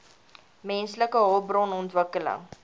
menslike hulpbron ontwikkeling